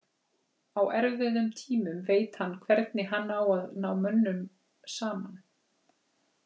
Á erfiðum tímum veit hann hvernig hann á að ná mönnum saman.